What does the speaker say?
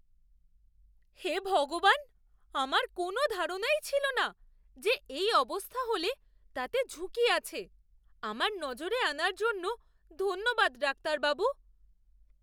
হে ভগবান! আমার কোনও ধারণাই ছিল না যে এই অবস্থা হলে তাতে ঝুঁকি আছে। আমার নজরে আনার জন্য ধন্যবাদ ডাক্তারবাবু।